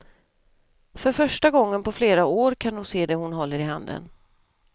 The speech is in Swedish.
För första gången på flera år kan hon se det hon håller i handen.